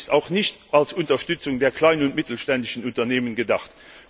Der Vorschlag ist auch nicht als Unterstützung der kleinen und mittelständischen Unternehmen gedacht.